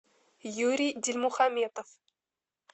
юрий дильмухаметов